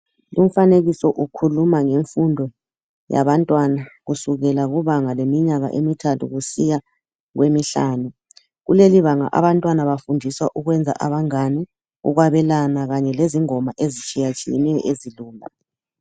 Umfanekiso ukhuluma ngemfundo yabantwana kusukela kubanga leminyaka emithathu kusiya kwemihlanu, kulelibanga abantwana bafundiswa ukwenza abangane ukwabelana Kanye lengoma ezitshiyetshiyeneyo ezilula.